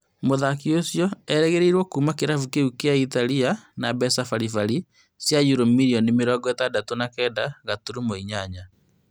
Mũthaki ũcio erĩgĩrĩirwo kuma kĩrabu kĩu kia Italia na mbeca bari bari cia yuro mirioni mĩrongo ĩtandatũ na kenda gaturumo inyanya